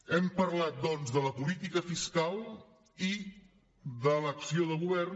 hem parlat doncs de la política fiscal i de l’acció de govern